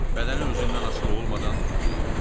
Bədəni özündən asılı olmadan titrəyirdi.